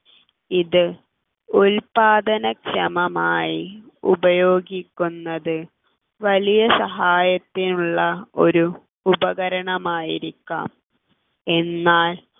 ഇത് ഉൽപാദനക്ഷമമായി ഉപയോഗിക്കുന്നത് വലിയ സഹായത്തിനുള്ള ഒരു ഉപകരണം ആയിരിക്കാം എന്നാൽ